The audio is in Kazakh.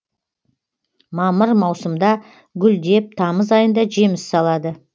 мамыр маусымда гүлдеп тамыз айында жеміс салады